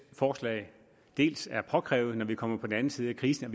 forslag er påkrævet når vi kommer på den anden side af krisen